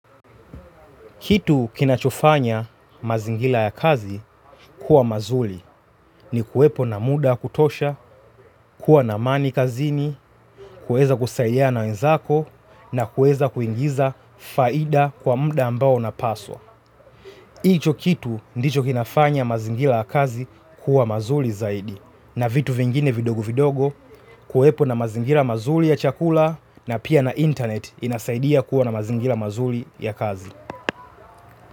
Kitu kinachofanya mazingira ya kazi kuwa mazuri ni kuwepo na muda kutosha, kuwa na amani kazini, kuweza kusalia na wenzako na kuweza kuingiza faida kwa muda ambao unapaswa. Iyo kitu ndicho kinafanya mazingira ya kazi kuwa mazuri zaidi na vitu vingine vidogo vidogo kuwepo na mazingira mazuri ya chakula na pia na internet inasaidia kuwa na mazingira mazuri ya kazi.